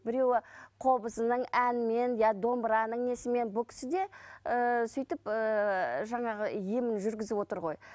біреуі қобызының әнімен я домбыраның несімен бұл кісі де ііі сөйтіп ііі жаңағы емін жүргізіп отыр ғой